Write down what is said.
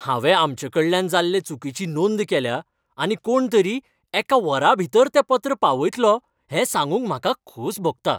हांवें आमचेकडल्यान जाल्ले चुकीची नोंद केल्या आनी कोणतरी एका वराभितर तें पत्र पावयतलो हें सांगूंक म्हाका खोस भोगता .